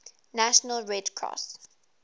national red cross